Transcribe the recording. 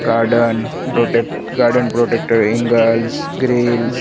garden protect garden protector angles grills --